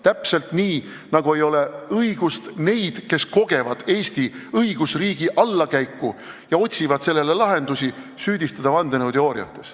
Täpselt nii, nagu ei ole õigust neid, kes kogevad Eesti õigusriigi allakäiku ja otsivad lahendusi, süüdistada vandenõuteooriates.